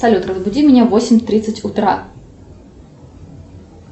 салют разбуди меня в восемь тридцать утра